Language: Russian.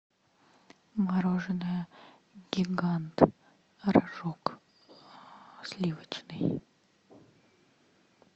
мороженое гигант рожок сливочный